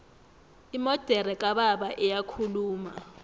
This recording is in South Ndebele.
imodere kababa iyakhuluma